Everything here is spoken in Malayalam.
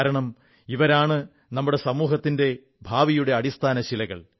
കാരണം ഇവരാണ് നമ്മുടെ സമൂഹത്തിന്റെ ഭാവിയുടെ അടിസ്ഥാനശിലകൾ